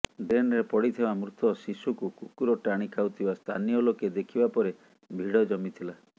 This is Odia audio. ଡ୍ରେନ୍ରେ ପଡ଼ିଥିବା ମୃତ ଶିଶୁକୁ କୁକୁର ଟାଣି ଖାଉଥିବା ସ୍ଥାନୀୟ ଲୋକେ ଦେଖିବା ପରେ ଭିଡ଼ ଜମିଥିଲା